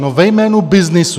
No, ve jménu byznysu.